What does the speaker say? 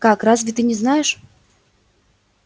как разве ты не знаешь